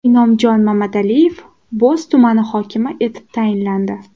Inomjon Mamadaliyev Bo‘z tumani hokimi etib tayinlandi.